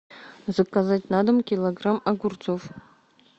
заказать на дом килограмм огурцов